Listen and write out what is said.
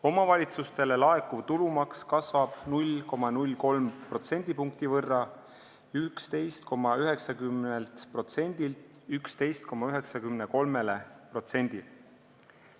Omavalitsustele laekuv tulumaks kasvab 0,03%: 11,90%-lt 11,93%-le.